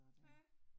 Ja